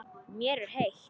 Mér er heitt.